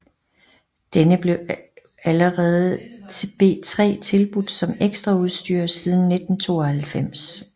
Denne blev allerede til B3 tilbudt som ekstraudstyr siden 1992